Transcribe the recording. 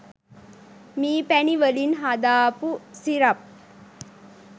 මී පැණි වලින් හදාපු සිරප්